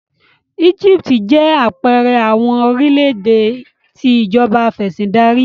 Egipti jẹ apẹẹrẹ awọn orilẹ-ede ti Ìjọba Afẹ̀sìndarí